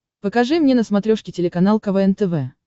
покажи мне на смотрешке телеканал квн тв